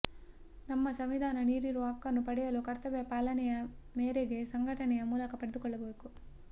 ನಮ್ಮ ಸಂವಿಧಾನ ನೀಡಿರುವ ಹಕ್ಕನ್ನು ಪಡೆಯಲು ಕರ್ತವ್ಯ ಪಾಲನೆಯ ಮೇರೆಗೆ ಸಂಘಟನೆಯ ಮೂಲಕ ಪಡೆದುಕೊಳ್ಳಬೇಕು